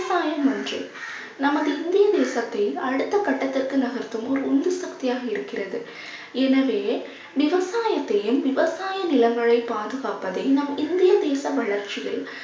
விவசாயம் ஒன்றே நமது இந்திய தேசத்தில் அடுத்த கட்டத்திற்கு நகர்த்தும் ஒரு உந்து சக்தியாக இருக்கிறது எனவே விவசாயத்தையும் விவசாய நிலங்களை பாதுகாப்பதே நம் இந்திய தேச வளர்ச்சியில்